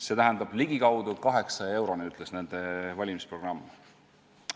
See tähendab, et ligikaudu 800 euroni, ütles nende valimisprogramm.